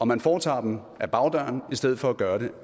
man foretager dem ad bagdøren i stedet for at gøre det